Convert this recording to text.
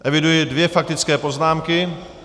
Eviduji dvě faktické poznámky.